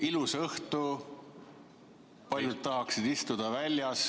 Ilus õhtu, paljud tahaksid istuda väljas ...